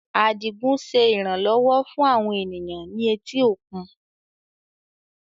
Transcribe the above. Adigun ṣe iranlọwọ fun awọn eniyan ni eti okun